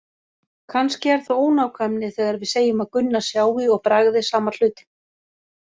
Kannski er það ónákvæmni þegar við segjum að Gunna sjái og bragði sama hlutinn.